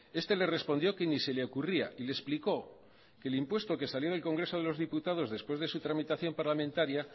este le respondió que ni se le ocurría y le explicó que el impuesto que salió en el congreso de los diputados después de su tramitación parlamentaria